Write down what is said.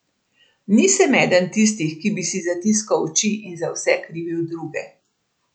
Nisem eden tistih, ki bi si zatiskal oči in za vse krivil druge.